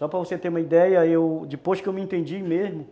Só para você ter uma ideia, eu... depois que eu me entendi mesmo,